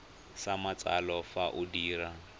sa matsalo fa o dira